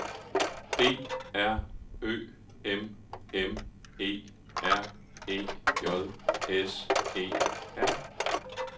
D R Ø M M E R E J S E R